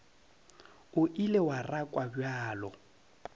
o ile wa rakwa bjalo